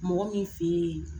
Mɔgɔ min fɛ yen